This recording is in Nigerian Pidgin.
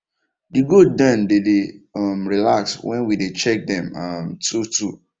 the goat dem dey dey um relax when we dey check dem um two two